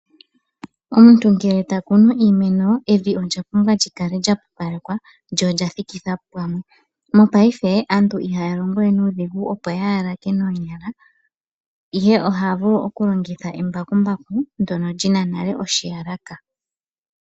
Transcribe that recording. Omuntu ngele ta kunu iimeno evi olya pumbwa okukala lya pupalekwa, lyo olya thikithwa pamwe. Mopaife aantu ihaya longowe nuudhigu, opo ya yalake noonyala, ihe oha vulu okulongitha embakumbaku ndyono li na nale oshiyalaka.